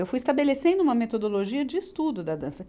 Eu fui estabelecendo uma metodologia de estudo da dança.